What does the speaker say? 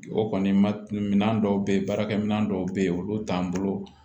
O kɔni ma minɛ dɔw bɛ ye baarakɛ minan dɔw bɛ yen olu t'an bolo